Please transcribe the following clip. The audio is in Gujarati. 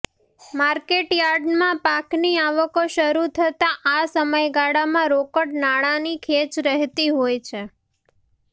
માર્કેટ યાર્ડમાં પાકની આવકો શરૃ થતાં આ સમયગાળામાં રોકડ નાણાંની ખેંચ રહેતી હોય છે